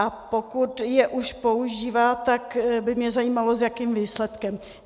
A pokud je už používá, tak by mě zajímalo, s jakým výsledkem.